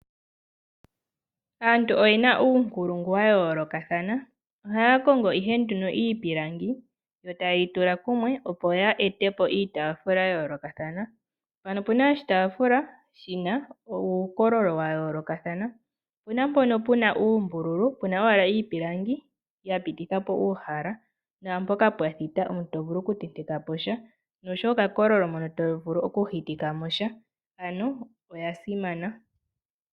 Aantu oye na uunkulungu wa yoolokathana. Ohaya kongo ihe iipilangi yo taye yi tula kumwe, opo ya ete po iitaafula ya yoolokathana. Mpano opu na oshitaafula shi na uukololo wa yoolokathana. Opu na mpono pu na uumbululu pu na owala iipilangi ya pititha po uhala naampoka pwa thita to vulu okutenteka po sha nosowo okakololo mono to vulu okuhitika mo sha. Oya simana.